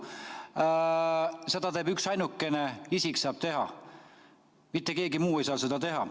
Seda saab teha üksainukene isik, mitte keegi muu ei saa seda teha.